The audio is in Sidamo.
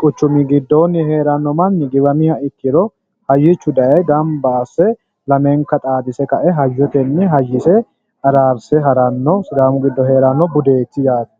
quchumi giddooni heerano manni heeriha ikkiro hayyichu daaye gamba asse lamenka xaadise kae hayyotenni hayyise araarse ha'ranotta sidaamu giddo heerano budeti yaate.